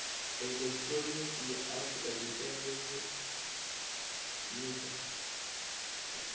elekihironiki ya afurika tshipembe nemisa